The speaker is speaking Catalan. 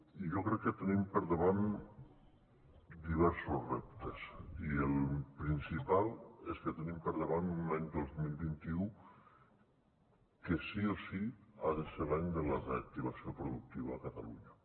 i jo crec que tenim per davant diversos reptes i el principal és que tenim per davant un any dos mil vint u que sí o sí ha de ser l’any de la reactivació productiva a catalunya